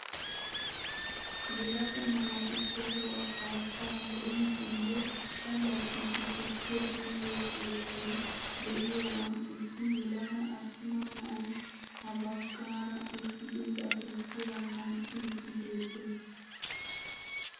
Yelaga naati tohuwaa kaasaa be'iiddinne allaxiiddi tukkiyaa uyiyoo keettay de'iyaagan issi yelaga attuma na'ay ha bagaara uttidi ba tukkiyaa ganxxiiddi beettes.